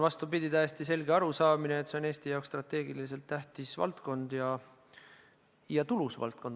Vastupidi, on täiesti selge arusaamine, et see on Eesti jaoks strateegiliselt tähtis valdkond ja tulus valdkond.